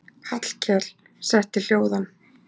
Hallkel setti hljóðan.